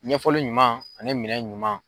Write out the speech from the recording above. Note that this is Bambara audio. Ɲɛfɔli ɲuman ani minɛn ɲuman.